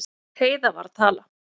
Heiða var að tala.